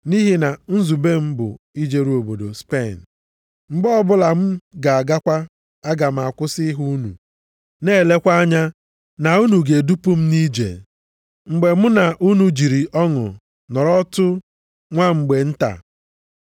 Nʼihi na nzube m bụ ijeru obodo Spen. Mgbe ọbụla m ga-agakwa, aga m akwụsị ịhụ unu na elekwa anya na unu ga-edupụ m nʼije m, mgbe mụ na unu jiri ọṅụ nọrọtụ nwa mgbe nta.